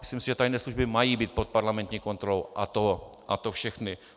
Myslím si, že tajné služby mají být pod parlamentní kontrolou, a to všechny.